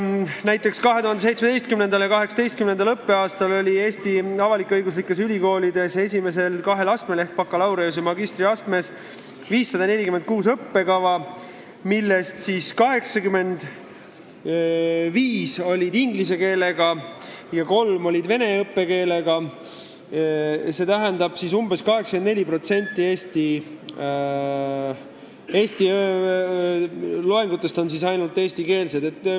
Näiteks 2017/18. õppeaastal on Eesti avalik-õiguslikes ülikoolides esimesel kahel astmel ehk bakalaureuse- ja magistriastmel 546 õppekava, millest 85 õppekeel on inglise keel ja kolme õppekeel vene keel, st et ainult umbes 84% loengutest on eestikeelsed.